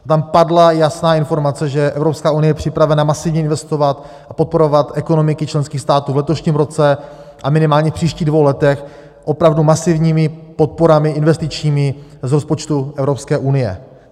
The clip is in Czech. Tam padla jasná informace, že EU je připravena masivně investovat a podporovat ekonomiky členských států v letošním roce a minimálně v příštích dvou letech opravdu masivními podporami investičními z rozpočtu EU.